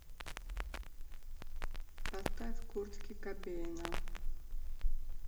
поставь куртки кобейна